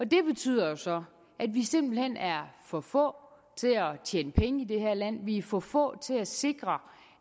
det betyder jo så at vi simpelt hen er for få til at tjene penge i det her land at vi er for få til at sikre